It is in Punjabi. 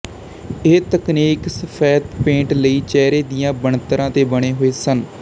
ਇਹ ਤਕਨੀਕ ਸਫੈਦ ਪੇਂਟ ਲਈ ਚਿਹਰੇ ਦੀਆਂ ਬਣਤਰਾਂ ਦੇ ਬਣੇ ਹੋਏ ਸਨ